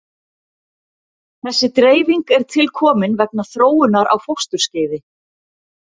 Þessi dreifing er tilkomin vegna þróunar á fósturskeiði.